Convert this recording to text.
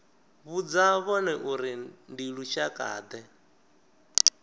vhudza vhone uri ndi lushakade